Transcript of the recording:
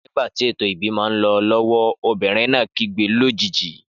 Nígbàtí ètò ìbímọ nlọ lọwọ obìrin náà kígbe lójijì